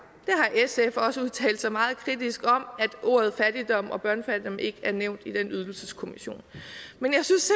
sf har også udtalt sig meget kritisk om at ordene fattigdom og børnefattigdom ikke er nævnt i den ydelseskommission men jeg synes